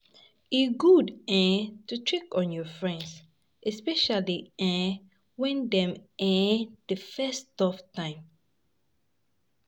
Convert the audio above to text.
E good um to check on your friend, especially um when dem um dey face tough times.